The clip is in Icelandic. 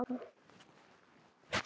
Það er lífsins alvara.